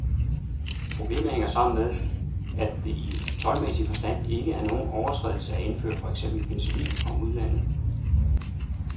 Problemet hænger sammen med, at det i toldmæssig forstand ikke er nogen overtrædelse at indføre for eksempel penicillin fra udlandet.